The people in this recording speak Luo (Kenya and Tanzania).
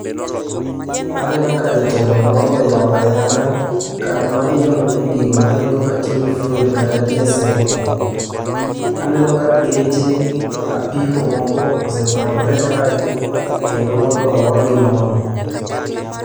Aneno ka jatelo moro oyawo ayanga, kar ma iolo ne gigo maringo katiyogi fuel kata diesel moo, aneno ka geche apiko moko osepangore kae kendo mondo olgi moono.